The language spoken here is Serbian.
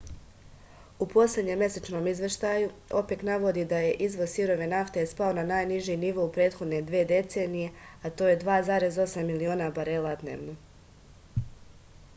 u poslednjem mesečnom izveštaju opek navodi da je izvoz sirove nafte spao na najniži nivo u prethodne dve decenije a to je 2,8 miliona barela dnevno